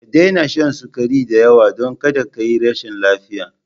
Ka daina shan sukari da yawa, don kada ka yi rashin lafiya!